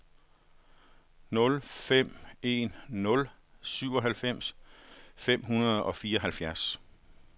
nul fem en nul syvoghalvfems fem hundrede og fireoghalvfjerds